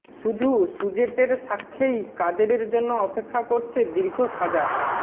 শুধু সুজেটের সাক্ষ্যেই কাদেরের জন্য অপেক্ষা করছে দীর্ঘ সাজা